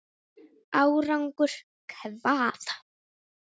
Árangur hvað?